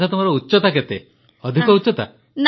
ଆଚ୍ଛା ତୁମର ଉଚ୍ଚତା କେତେ ଅଧିକ ଉଚ୍ଚତା